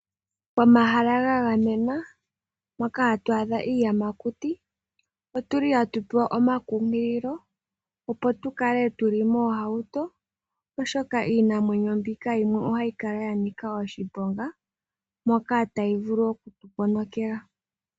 Omahala ga gamwena moka hatu adha iiyamakuti. Otuli hatu pewa omakunkililo, opo tu kale tu li moohauto, oshoka iinamwenyo mbika yimwe ohayi kala ya nika oshiponga moka tayi vulu oku tu ponokela.